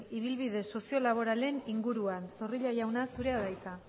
ibilbide soziolaboralen inguruan zorrilla jauna zurea da hitza